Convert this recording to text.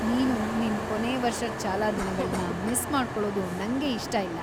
ನೀನು ನಿನ್ ಕೊನೇ ವರ್ಷದ್ ಶಾಲಾ ದಿನಗಳ್ನ ಮಿಸ್‌ ಮಾಡ್ಕೊಳೋದು ನಂಗೆ ಇಷ್ಟ ಇಲ್ಲ.